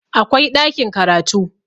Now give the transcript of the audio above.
akwai ɗakin karatu